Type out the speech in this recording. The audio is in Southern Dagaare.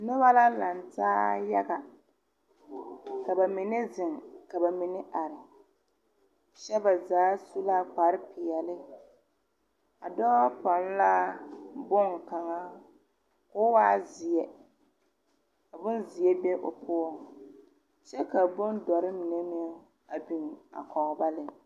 Noba la laŋ taa yaga ka ba mine zeŋ ka ba mine are kyɛ ba zaa su la kpare peɛle a dɔɔ pɔnne la boŋkaŋa k'o waa zeɛ bonzeɛ be o poɔ kyɛ ka bonzɔre mine meŋ a biŋ a kɔge ba lɛ.